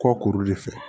Kɔ kuru de fɛ